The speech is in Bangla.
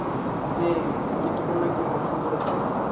আপনি গুরুত্বপূর্ণ একটি প্রশ্ন করেছেন।